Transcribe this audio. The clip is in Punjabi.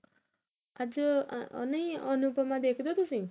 ਅੱਜ ਨਹੀ ਅਨੁਪਮਾ ਦੇਖਦੇ ਹੋ ਤੁਸੀਂ